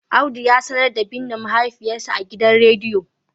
Audu ya sanar da binne mahaifiyarsa a gidan rediyo